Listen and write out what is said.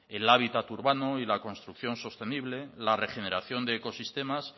el hábitat urbano y la construcción sostenible la regeneración de ecosistemas